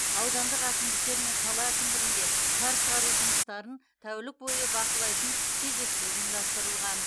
аудандық әкімдіктер мен қала әкімдігінде қар шығару жұмыстарын тәулік бойы бақылайтын кезекшілік ұйымдастырылған